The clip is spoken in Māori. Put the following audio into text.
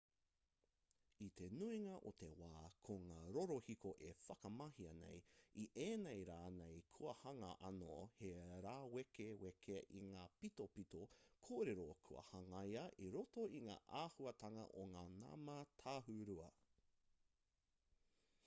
i te nuinga o te wā ko ngā rorohiko e whakamahia nei i ēnei rā nei kua hanga anō he rāwekeweke i ngā pitopito kōrero kua hangaia i roto i ngā āhuatanga o ngā nama tāhūrua